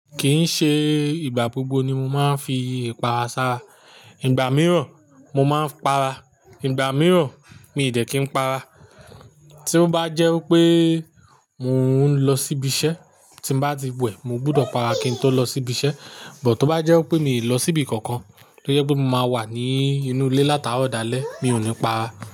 Kìí ṣe ìgbà gbogbo ni mo máa ń fi ipa sára. Ìgbà mìíràn mo máa ń para, ìgbà mìíràn mi ò dẹ́ kí n para. Tí ó bá jẹ́ pé mò ń lọ síbi iṣẹ́ tí bá ti wẹ̀, mo gbọ́dọ̀ para kí n tó lọ sí ibi iṣẹ́. But tó bá jẹ́ pé mi ò lọ síbi kankan, tó jẹ pé mo máa wà ní inú ilé láti aro dàlẹ̀, mi ò ní pa ara.